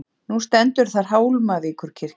Nú stendur þar Hólmavíkurkirkja.